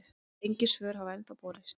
Engin svör hafa ennþá borist.